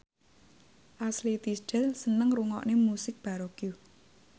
Ashley Tisdale seneng ngrungokne musik baroque